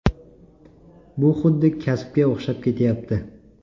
Bu xuddi kasbga o‘xshab ketyapti.